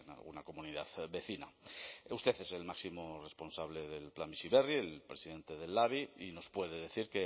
alguna comunidad vecina usted es el máximo responsable del plan bizi berri el presidente del labi y nos puede decir